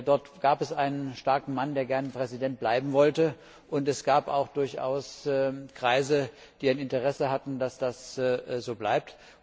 Dort gab es einen starken Mann, der gern Präsident bleiben wollte, und es gab auch durchaus Kreise, die ein Interesse hatten, dass das so bleibt.